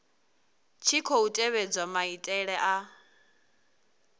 tshi khou tevhedzwa maitele a